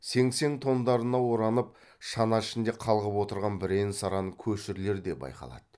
сеңсең тондарына оранып шана ішінде қалғып отырған бірен саран көшірлер де байқалады